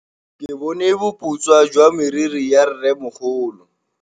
Ke bone boputswa jwa meriri ya rrêmogolo.